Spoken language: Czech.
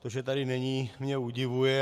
To, že tady není, mě udivuje.